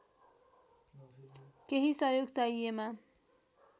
केही सहयोग चाहिएमा